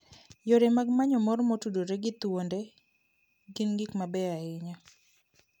Yore mag manyo mor motudore gi thuonde gin gik mabeyo ahinya.